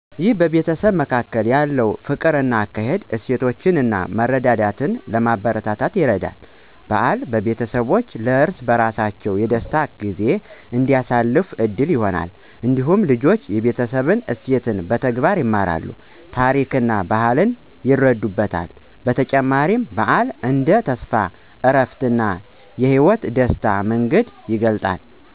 ይህ በቤተሰብ መካከል ያለውን ፍቅር፣ አካሄድ፣ እሴቶች እና መረዳዳትን ለማበረታታት ይረዳል። በዓል ቤተሰቦች ለእርስ በርሳቸው የደስታ ጊዜ እንዲያሳልፉ ዕድል ይሆናል። እንዲሁም ልጆች የቤተሰብ እሴትን በተግባር ይማራሉ፣ ታሪክና ባህልን ይረዱበታል። በተጨማሪም፣ በዓል እንደ ተስፋ፣ እረፍት፣ እና የህይወት ደስታ መንገድ ይገለጣል።